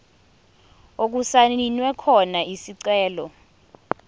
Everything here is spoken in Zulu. okusayinwe khona isicelo